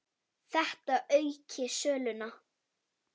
Þetta auki söluna.